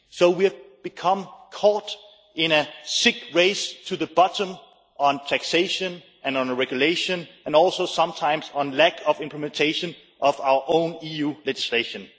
We have become caught in a sick race to the bottom on taxation and on regulation, and also sometimes on lack of implementation of our own EU legislation.